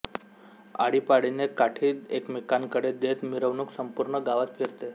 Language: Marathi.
आळीपाळीने काठी एकमेकांकडे देत मिरवणूक संपूर्ण गावात फिरते